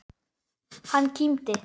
Hann kímdi.